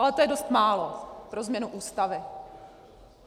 Ale to je dost málo pro změnu Ústavy.